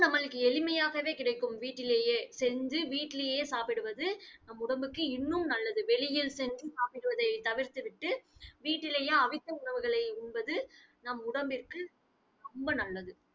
நம்மளுக்கு எளிமையாகவே கிடைக்கும் வீட்டிலேயே செஞ்சு வீட்டிலேயே சாப்பிடுவது உடம்புக்கு இன்னும் நல்லது. வெளியில் சென்று சாப்பிடுவதை தவிர்த்து விட்டு வீட்டிலேயே அவித்த உணவுகளை உண்பது நம் உடம்பிற்கு ரொம்ப நல்லது